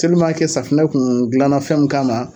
safunɛ kun dilanna fɛn min kama